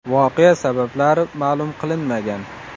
Voqea sabablari ma’lum qilinmagan.